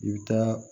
I bɛ taa